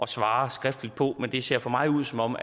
svare skriftligt på det men det ser for mig ud som om